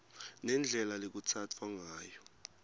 nendlela lekutsatfwa ngayo